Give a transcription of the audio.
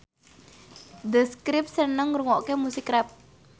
The Script seneng ngrungokne musik rap